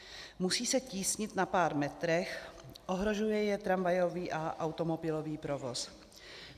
Musí se tísnit na pár metrech, ohrožuje je tramvajový a automobilový provoz.